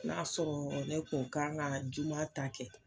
N'a sɔrɔɔ ne kun kan ŋa juma ta kɛ